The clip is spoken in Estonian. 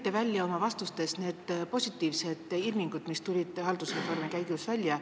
Te tõite oma vastustes esile positiivsed ilmingud, mis tulid haldusreformi käigus välja.